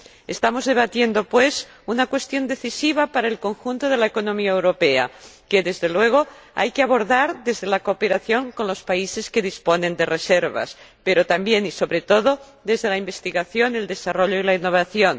Estamos debatiendo, pues, una cuestión decisiva para el conjunto de la economía europea, que, desde luego, hay que abordar desde la cooperación con los países que disponen de reservas, pero también, y sobre todo, desde la investigación, el desarrollo y la innovación.